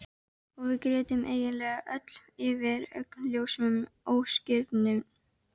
Og við grétum eiginlega öll yfir augljósum ósigrinum.